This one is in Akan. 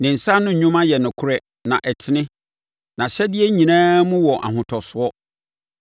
Ne nsa ano nnwuma yɛ nokorɛ na ɛtene; nʼahyɛdeɛ nyinaa mu wɔ ahotosoɔ.